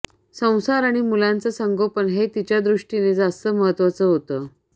संसार आणि मुलांचं संगोपन हे तिच्यादृष्टीनं जास्त महत्त्वाचं होतं